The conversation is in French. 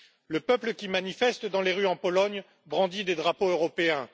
Le peuple qui manifeste dans les rues en Pologne brandit des drapeaux européens.